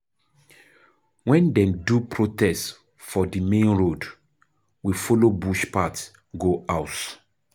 Wen dem do protest for di main road, we folo bush path go house